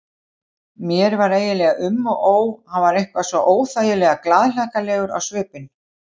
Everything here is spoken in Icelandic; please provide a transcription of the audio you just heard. Því fer verr eins og raun mun bera vitni hér í bók áður yfir lýkur.